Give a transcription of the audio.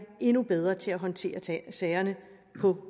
endnu bedre til at håndtere sagerne på